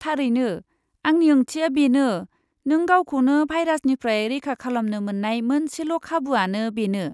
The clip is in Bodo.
थारैनो, आंनि ओंथिया बेनो नों गावखौनो भाइरासनिफ्राय रैखा खालामनो मोन्नाय मोनसेल' खाबुआनो बेनो।